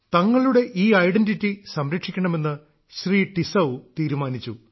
തങ്ങളുടെ ഈ ഐഡന്റിറ്റി സംരക്ഷിക്കണമെന്ന് ശ്രീ ടിസൌ തീരുമാനിച്ചു